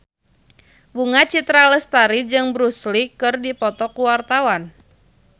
Bunga Citra Lestari jeung Bruce Lee keur dipoto ku wartawan